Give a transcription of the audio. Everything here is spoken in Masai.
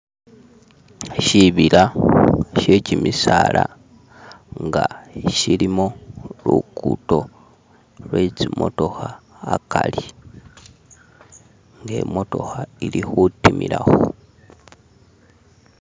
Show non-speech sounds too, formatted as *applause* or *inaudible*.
shibila shekimisala nga shilimo "*skip*" lukuddo lwetsimotokha akali "*skip*" nga imotokha ilikhutimilakho.